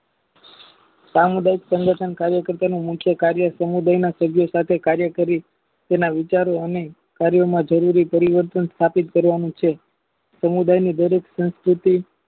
સામુદાયિક સંગઠન ના કાર્ય કરતા ને મુખ્ય કાર્ય સમુદાયના સભ્યો સાથે કાર્ય કરી તેના વિચારો અને કરીયો માં જરૂરી પરિવર્તન સ્થાપિત કરવાનું છે સમુદાય ની દરેક સંસ્કૃતિ